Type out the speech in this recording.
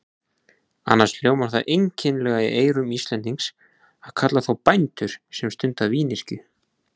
Annars hljómar það einkennilega í eyrum Íslendings að kalla þá bændur sem stunda vínyrkju.